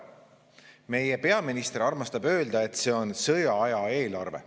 Meie peaminister armastab öelda, et see on sõjaaja eelarve.